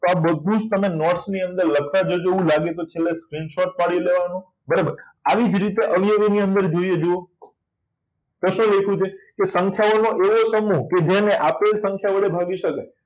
આ બધું જ તમે note ની અંદર લખતા જજો એવું લાગે તો છેલ્લે screenshot પાડી લેવાનો બરાબર આવી જ રીતે અવયવી ની અંદર જોઈએ તો શું લખ્યું છે કે સંખ્યાઓનો એકમો કે જેને આપેલ સંખ્યા વડે ભાગી શકાય